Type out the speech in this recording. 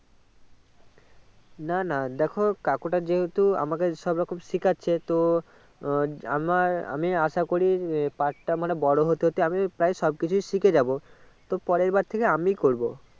না না দেখো কাকুটা যেহুতু আমাকে সবরকম সিকাচ্ছে তো আহ আমার আমি আসা করি আহ পাটটা মানে বোরো হতে হতে আমি প্রায় সবকিছু শিখে যাবো তো পরের বার থেকে আমি করবো